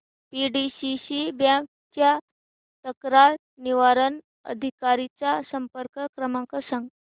PDCC bank च्या तक्रार निवारण अधिकारी चा संपर्क क्रमांक सांग